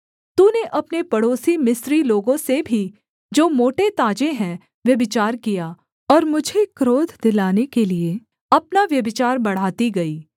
तूने अपने पड़ोसी मिस्री लोगों से भी जो मोटेताजे हैं व्यभिचार किया और मुझे क्रोध दिलाने के लिये अपना व्यभिचार बढ़ाती गई